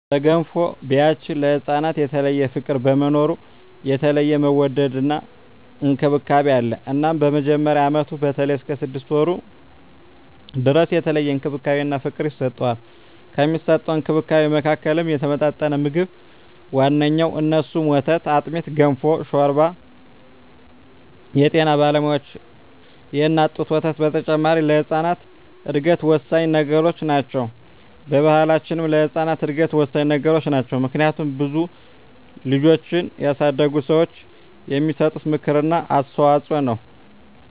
በገንፎ ቢያችን ለህፃናት የተለየ ፍቅር በመኖሩ የተለየ መወደድና እንክብካቤ አለ እናም በመጀመሪያ አመቱ በተለይም እስከ ስድስት ወሩ ድረስ የተለየ እንክብካቤና ፍቅር ይሰጠዋል። ከሚሰጠዉ እንክብካቤወች መካከልም የተመጣጠነ ምግብ ዋነኛዉ እነሱም፦ ወተት፣ አጥሚት፣ ገንፎ፣ ሾርባ አወ የጤና ባለሙያዋች የእናት ጡት ወተት በተጨማሪ ለህጻናት እድገት ወሳኚ ነገሮች ናቸው። በባሕላችንም ለህጻናት እድገት ወሳኚ ነገሮች ናቸው። ምክንያቱም ብዙ ልጆችን ያሳደጉ ሰዋች የሚሰጡት ምክር እና አስተዋጾ ነው።